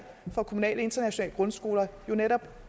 om kommunale internationale grundskoler jo netop